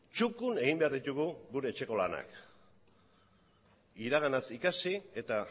txukun egin behar ditugu gure etxeko lanak iraganaz ikasi eta